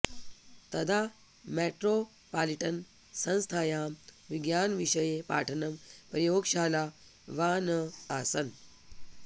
तदा मेट्रोपालिटन् संस्थायां विज्ञानविषये पाठनं प्रयोगशाला वा न आसन्